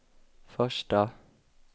första